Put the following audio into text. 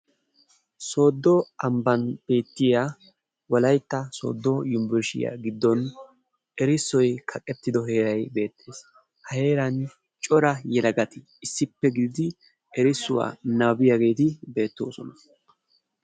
Soodo amban beetiya Wolaytta Soodo Yunburshiya gidon erissoy kaqettido heeray beetees, ha heeran cora yelagati issippe gididi erissuwa nabbabiyageeti beetoosona.